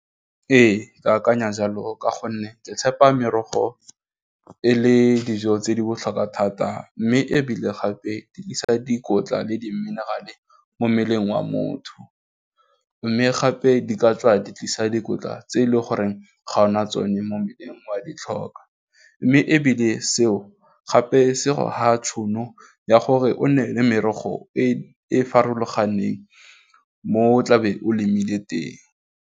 Ee, ke akanya jalo ka gonne ke tshepa merogo e le dijo tse di botlhokwa thata mme ebile gape di tlisa dikotla le diminerale mo mmeleng wa motho, mme gape di ka tswa di tlisa dikotla tse e leng goreng ga ona tsone mo mmeleng o a ditlhokwa, mme ebile seo gape se tšhono ya gore o nne le merogo e e farologaneng mo tlabeng o lemile teng.